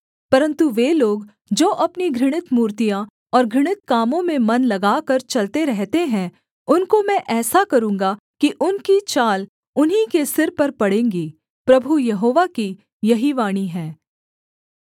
परन्तु वे लोग जो अपनी घृणित मूर्तियाँ और घृणित कामों में मन लगाकर चलते रहते हैं उनको मैं ऐसा करूँगा कि उनकी चाल उन्हीं के सिर पर पड़ेंगी प्रभु यहोवा की यही वाणी है